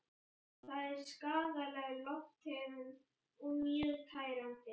Það er skaðleg lofttegund og mjög tærandi.